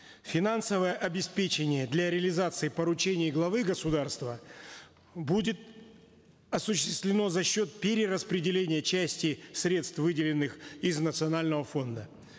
финансовое обеспечение для реализации поручений главы государства будет осуществлено за счет перераспределения части средств выделенных из национального фонда